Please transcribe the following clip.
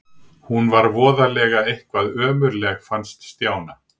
Hún var voðalega eitthvað ömmuleg fannst Stjána.